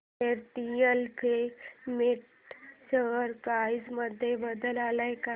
Fairdeal filament share price मध्ये बदल आलाय का